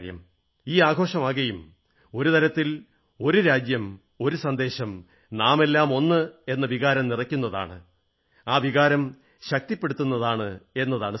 ഈ ആഘോഷമാകെയും ഒരു തരത്തിൽ ഒരു രാജ്യം ഒരു സന്ദേശം നാമെല്ലാം ഒന്ന് എന്ന വികാരം നിറയ്ക്കുന്നതാണ് ആ വികാരം ശക്തിപ്പെടുത്തുന്നതാണ് എന്നതാണ് സത്യം